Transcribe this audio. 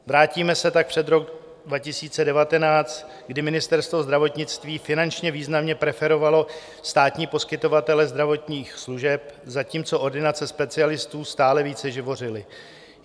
Vrátíme se tak před rok 2019, kdy Ministerstvo zdravotnictví finančně významně preferovalo státní poskytovatele zdravotních služeb, zatímco ordinace specialistů stále více živořily.